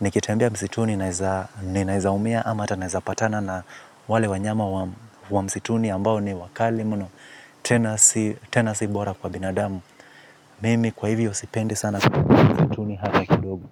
Nikitembea msituni naeza umia ama hata naeza patana na wale wanyama wa msituni ambao ni wakali mno. Tena si bora kwa binadamu. Mimi kwa hivyo sipendi sana kutembea msituni hata kidogo.